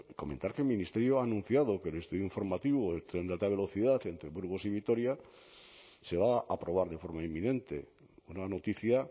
comentar que el ministerio ha anunciado que el estudio informativo del tren de alta velocidad entre burgos y vitoria se va a aprobar de forma inminente una noticia